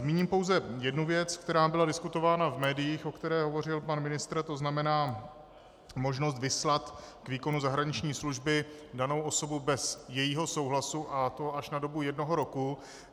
Zmíním pouze jednu věc, která byla diskutována v médiích, o které hovořil pan ministr, to znamená možnost vyslat k výkonu zahraniční služby danou osobu bez jejího souhlasu, a to až na dobu jednoho roku.